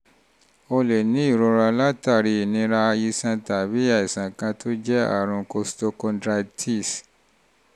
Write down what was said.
o lè ní ìrora látàrí ìnira iṣan tàbí àìsàn kan tó jọ àrùn costochondritis